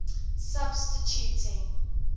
substituting